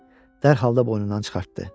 Dərhal da boynundan çıxartdı.